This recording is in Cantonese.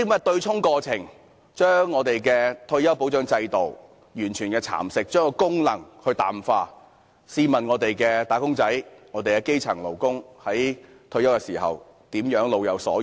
對沖過程完全蠶食了退休保障制度，將其功能淡化，試問我們的"打工仔女"和基層勞工在退休時怎能老有所養？